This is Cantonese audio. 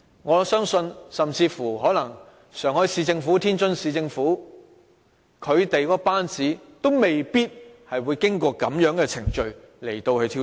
我相信上海市政府、天津市政府的班子，也未必會經過這樣的程序來挑選。